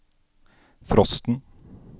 frosten